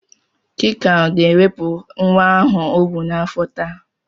Chika ga-ewepụ nwa ahụ ọ bụ n'afọ taa.